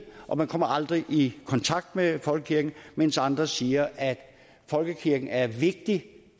og man kommer aldrig i kontakt med folkekirken mens andre siger at folkekirken er vigtig